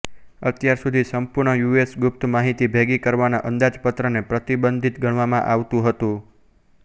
અત્યારસુધી સંપૂર્ણ યુએસ ગુપ્ત માહિતી ભેગી કરવાના અંદાજપત્રને પ્રતબંધિત ગણવામાં આવતું હતું